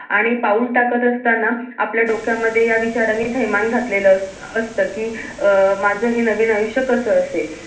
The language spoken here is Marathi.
आणि पाऊल टाकत असताना आपल्या डोक्यामध्ये या विचारांनी थैमान घातलेलं असत असत कि अं माझं हे नवीन आयुष्य कास असेल